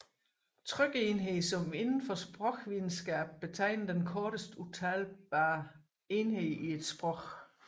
Trykenhed som inden for sprogvidenskab betegner den korteste udtalbare enhed i et sprog